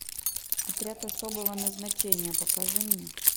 отряд особого назначения покажи мне